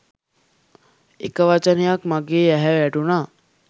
එක වචනයක් මගේ ඇහැ ගැටුනා